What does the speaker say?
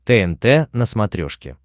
тнт на смотрешке